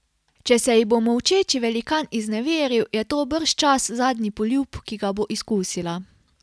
Če se ji bo molčeči velikan izneveril, je to bržčas zadnji poljub, ki ga bo izkusila.